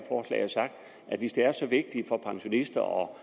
og have sagt at hvis det er så vigtigt for pensionister og